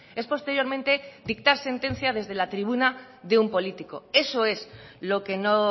es posteriormente dictar sentencia desde la tribuna de un político eso es lo que no